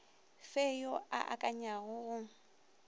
fe yo a akanyago go